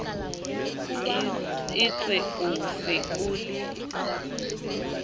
etswe o se o le